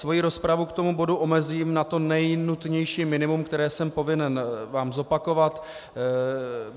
Svoji rozpravu k tomu bodu omezím na to nejnutnější minimum, které jsem povinen vám zopakovat.